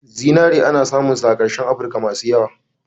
Zinare ana samun sa a kashen afrika masu yawa.